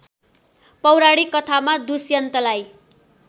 पौराणिक कथामा दुष्यन्तलाई